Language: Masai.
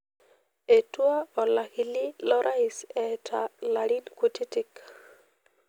Etua olakili lorais eeta larin kutitik.